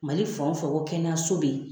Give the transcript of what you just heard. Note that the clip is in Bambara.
Mali fan o fan ko kɛnɛyaso be ye